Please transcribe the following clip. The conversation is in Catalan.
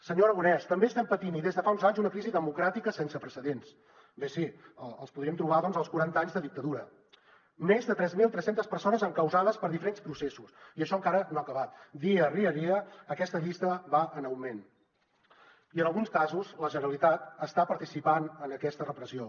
senyor aragonès també estem patint i des de fa uns anys una crisi democràtica sense precedents bé sí els podríem trobar doncs als quaranta anys de dictadura més de tres mil tres cents persones encausades per diferents processos i això encara no ha acabat dia rere dia aquesta llista va en augment i en alguns casos la generalitat està participant en aquesta repressió